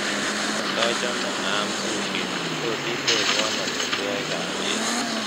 katochome aam sushi tot itebwon amitwogik ab beet ii